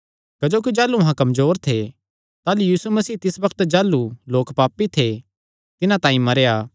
क्जोकि जाह़लू अहां कमजोर थे ताह़लू यीशु मसीह तिस बग्त जाह़लू लोक पापी थे तिन्हां तांई मरेया